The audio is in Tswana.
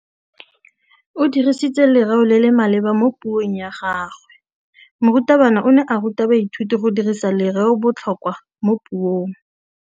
O dirisitse lerêo le le maleba mo puông ya gagwe. Morutabana o ne a ruta baithuti go dirisa lêrêôbotlhôkwa mo puong.